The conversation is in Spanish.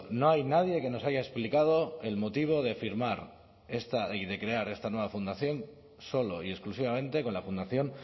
no hay nadie que nos haya explicado el motivo de firmar y de crear esta nueva fundación solo y exclusivamente con la fundación